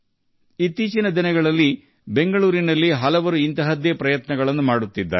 ಇತ್ತೀಚಿನ ದಿನಗಳಲ್ಲಿ ಬೆಂಗಳೂರಿನಲ್ಲಿ ಇಂತಹ ಪ್ರಯತ್ನವನ್ನು ಅನೇಕರು ಮಾಡುತ್ತಿದ್ದಾರೆ